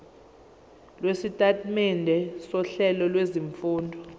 lwesitatimende sohlelo lwezifundo